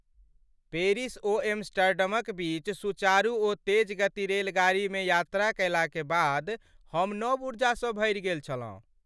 Paris ओ एम्स्टर्डमक बीच सुचारु ओ तेज गति रेलगाड़ीमे यात्रा कयलाक बाद हम नव ऊर्जासँ भरि गेल छलहुँ।